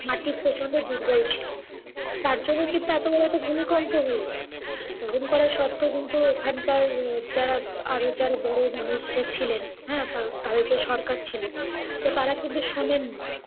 মাটি প্রচণ্ড দুর্বল ছিল। টার জন্য কিন্তু এতো বড় একটা ভুমিকম্প হল। বারন করা সত্তেও কিন্তু ওখানকার যারা আরও যারা বড় মানুষরা ছিলেন হ্যাঁ, তা~ তাদের যে সরকার ছিল তো তারা কিন্তু শোনেননি।